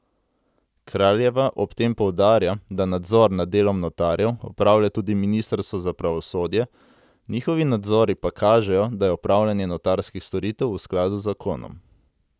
Kraljeva ob tem poudarja, da nadzor nad delom notarjev opravlja tudi ministrstvo za pravosodje, njihovi nadzori pa kažejo, da je opravljanje notarskih storitev v skladu z zakonom.